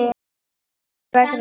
Hvers vegna hann?